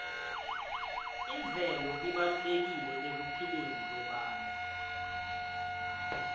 imvelo ibalulekile ekuphileni kwebantfu